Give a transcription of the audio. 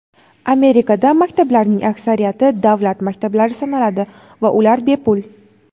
Amerikada maktablarning aksariyati davlat maktablari sanaladi va ular bepul.